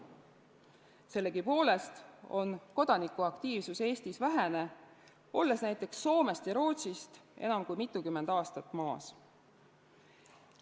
Sellegipoolest on kodanikuaktiivsus Eestis vähene, olles näiteks Soomest või Rootsist enam kui mitukümmend aastat maas.